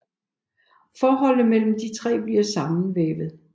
Forholdet mellem de tre bliver sammenvævet